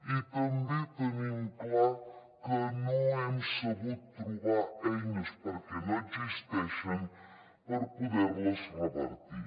i també tenim clar que no hem sabut trobar eines perquè no existeixen per poderles revertir